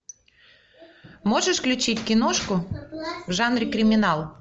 можешь включить киношку в жанре криминал